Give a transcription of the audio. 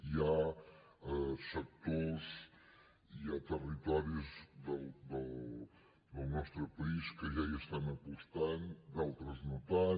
hi ha sectors hi ha territoris del nostre país que ja hi estan apostant d’altres no tant